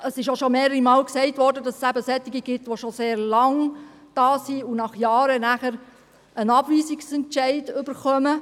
Es wurde auch schon mehrere Male gesagt, dass es Asylsuchende gibt, die schon sehr lange in der Schweiz sind und nach Jahren einen Abweisungsentscheid erhalten.